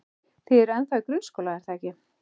Þið eruð ennþá í grunnskóla, er það ekki?